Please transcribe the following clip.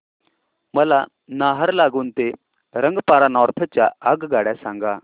मला नाहरलागुन ते रंगपारा नॉर्थ च्या आगगाड्या सांगा